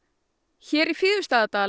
hér í